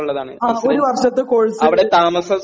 ഒരു വർഷത്തെ കോഴ്സ്